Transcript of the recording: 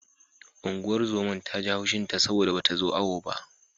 Unguwar zoman ta ji haushin ta saboda bata zo awo ba.